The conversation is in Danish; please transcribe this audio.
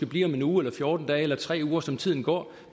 blive om en uge eller fjorten dage eller om tre uger som tiden går